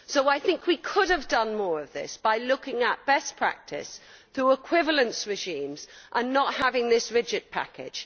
I think we could have done more of this by looking at best practice through equivalence regimes and not having this rigid package.